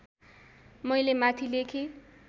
मैले माथि लेखे